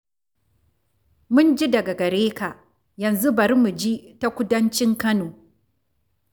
Mun ji daga gare ka, yanzu bari mu ji ta kudancin Kano.